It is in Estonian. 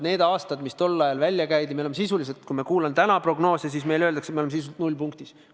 Need aastad, mis tol ajal välja käidi – kui ma kuulan, mis täna prognoose tehes öeldakse, siis meile öeldakse, et me oleme sisuliselt nullpunktis.